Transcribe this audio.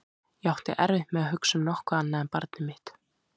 Ég átti erfitt með að hugsa um nokkuð annað en barnið mitt.